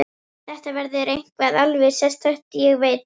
Þetta verður eitthvað alveg sérstakt, ég veit það.